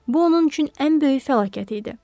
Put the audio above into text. Bu onun üçün ən böyük fəlakət idi.